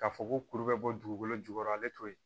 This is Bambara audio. K'a fɔ ko kuru bɛ bɔ dugukolo jukɔrɔ ale t'o ye